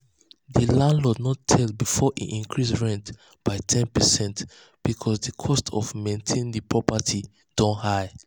um the landlord no tell before e increase rent by ten percent because the um cost to maintain the um property don high.